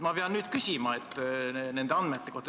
Ma pean nüüd küsima nende andmete kohta.